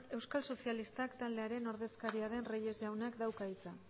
euskal sozialistak taldearen ordezkaria den reyes jaunak dauka hitza